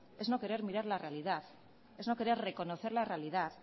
es no querer mirar la realidad es no querer reconocer la realidad